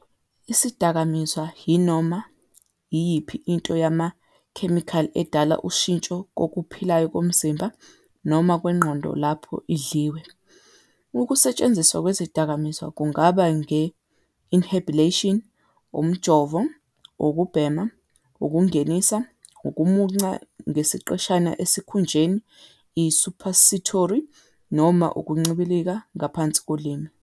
Isidakamizwa yinoma iyiphi into yamakhemikhali edala ushintsho kokuphilayo komzimba noma kwengqondo lapho idliwe. Ukusetshenziswa kwezidakamizwa kungaba nge-inhalation, umjovo, ukubhema, ukungenisa, ukumunca ngesiqeshana esikhunjeni, i- suppository, noma ukuncibilika ngaphansi kolimi.